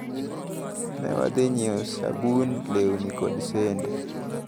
Newadhi nyiewo sabun, lewni kod sende.